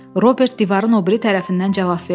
Robert divarın o biri tərəfindən cavab verdi.